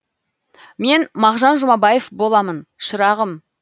мен мағжан жұмабаев боламын шырағым